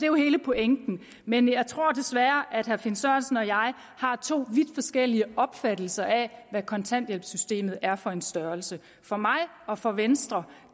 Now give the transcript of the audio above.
jo hele pointen men jeg tror desværre at herre finn sørensen og jeg har to vidt forskellige opfattelser af hvad kontanthjælpssystemet er for en størrelse for mig og for venstre